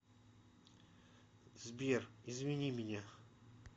сбер извини меня